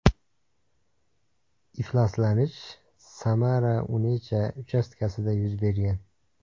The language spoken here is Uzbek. Ifloslanish SamaraUnecha uchastkasida yuz bergan.